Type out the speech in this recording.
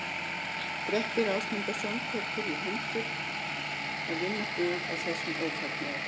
Grettir Ásmundarson tekst á hendur að vinna bug á þessum ófagnaði.